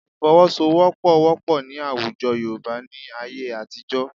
Ìfọwọ́sowọ́pọ̀ wọ́pọ̀ ní àwùjọ Yorùbá ní ayé àtijọ́